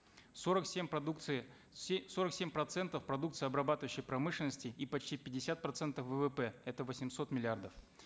сорок семь продукции сорок семь процентов продукции обрабатывающей промышленности и почти пятьдесят процентов ввп это восемьсот миллиардов